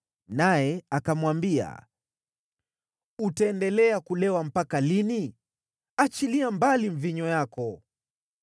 naye akamwambia, “Utaendelea kulewa mpaka lini? Achilia mbali mvinyo wako.”